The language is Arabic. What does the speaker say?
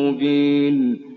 مُّبِينٌ